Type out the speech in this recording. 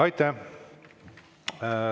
Aitäh!